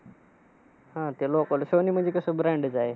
हा, त्या लोकांना, सोनी म्हणजे कसं brand चं आहे.